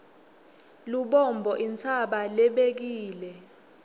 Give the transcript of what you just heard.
lubombo intsaba lebekile